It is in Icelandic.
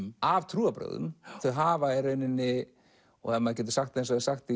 af trúarbrögðum þau hafa í rauninni og ef maður getur sagt eins og sagt